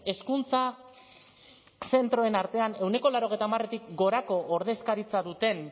hezkuntza zentroen artean ehuneko laurogeita hamaretik gorako ordezkaritza duten